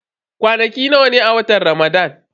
Kwanaki nawa ne a watan Ramadan?